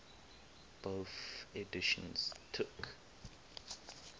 bofh editions took